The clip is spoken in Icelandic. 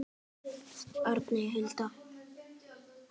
Arney Huld.